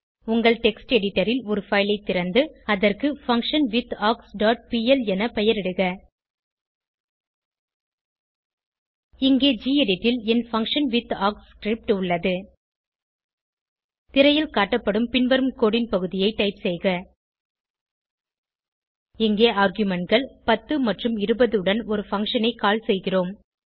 உங்கள் text editor ல் ஒரு பைல் ஐ திறந்து அதற்கு பங்ஷன்விதார்க்ஸ் டாட் பிஎல் என பெயரிடுக இங்கே கெடிட் ல் என் பங்ஷன்விதார்க்ஸ் ஸ்கிரிப்ட் உள்ளது திரையில் காட்டப்படும் பின்வரும் கோடு ன் பகுதியை டைப் செய்க இங்கே argumentகள் 10 மற்றும் 20 உடன் ஒரு பங்ஷன் ஐ கால் செய்கிறோம்